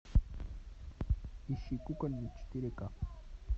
ищи кукольник четыре ка